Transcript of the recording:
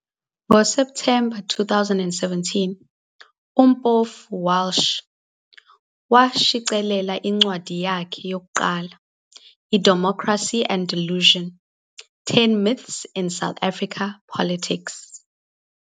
NgoSepthemba 2017, uMpofu-Walsh washicilela incwadi yakhe yokuqala, iDemocracy and Delusion- 10 Myths in South Africa Politics.